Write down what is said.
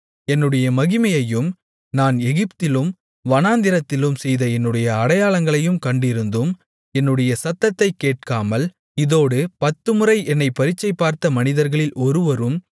என்னுடைய மகிமையையும் நான் எகிப்திலும் வனாந்திரத்திலும் செய்த என்னுடைய அடையாளங்களையும் கண்டிருந்தும் என்னுடைய சத்தத்தை கேட்காமல் இதோடு பத்துமுறை என்னைப் பரீட்சைபார்த்த மனிதர்களில் ஒருவரும்